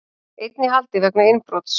Einn í haldi vegna innbrots